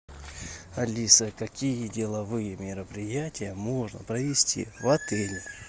алиса какие деловые мероприятия можно провести в отеле